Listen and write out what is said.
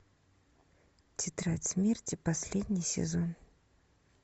тетрадь смерти последний сезон